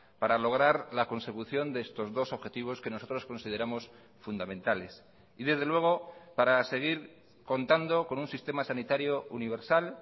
para lograr la consecución de estos dos objetivos que nosotros consideramos fundamentales y desde luego para seguir contando con un sistema sanitario universal